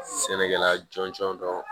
Sɛnɛkɛla jɔnjɔn dɔ